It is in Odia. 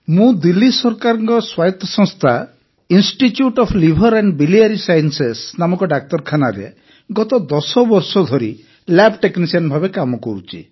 ମୁଁ ଦିଲ୍ଲୀ ସରକାରଙ୍କ ସ୍ୱାୟତ ସଂସ୍ଥା institute of liver and biliary sciences ନାମକ ଡାକ୍ତରଖାନାରେ ଗତ 10 ବର୍ଷ ଧରି ଲ୍ୟାବ୍ ଟେକ୍ନିସିଆନ୍ ଭାବେ କାର୍ଯ୍ୟ କରୁଛି